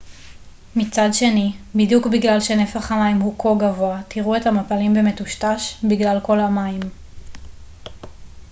מצד שני בדיוק בגלל שנפח המים הוא כה גבוה תראו את המפלים במטושטש בגלל כל המים